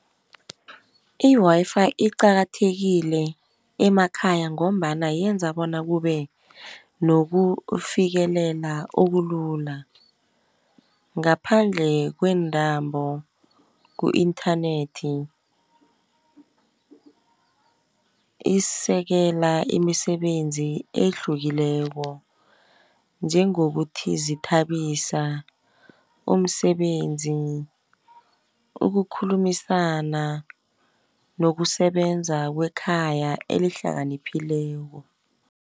I-Wi-Fi iqakathekile emakhaya ngombana yenza bona kube nokufikelela okulula, ngaphandle kwe intambo ku-inthanethi. Isekela imisebenzi ehlukileko, njengokuthi zithabisa umsebenzi, ukukhulumisana nokusebenza wekhaya elihlakanphileko.